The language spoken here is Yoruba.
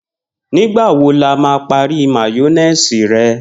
Nĩgbà wo lo máa parí máyó̩néèsì re̩?